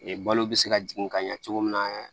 balo bɛ se ka jigin ka ɲɛ cogo min na